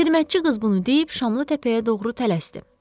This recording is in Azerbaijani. Xidmətçi qız bunu deyib Şamlıtəpəyə doğru tələsdi.